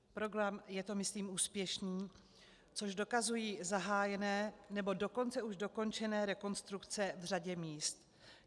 Program je to myslím úspěšný, což dokazují zahájené, nebo dokonce už dokončené rekonstrukce v řadě míst.